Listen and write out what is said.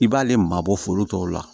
I b'ale maa bɔ foro tɔw la